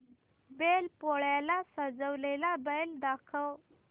बैल पोळ्याला सजवलेला बैल दाखव